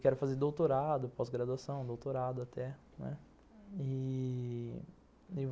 Quero fazer doutorado, pós-graduação, doutorado, até... né, e vou